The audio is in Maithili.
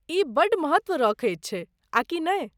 ई बड़ महत्त्व रखै छै, आ कि नै?